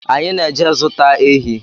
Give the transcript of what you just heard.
Anyị na-eje zụta ehi